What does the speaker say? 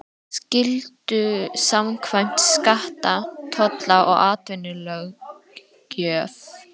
skyldu samkvæmt skatta-, tolla- og atvinnulöggjöf.